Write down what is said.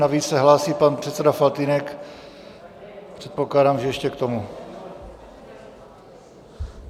Navíc se hlásí pan předseda Faltýnek, předpokládám, že ještě k tomu.